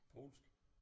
Polsk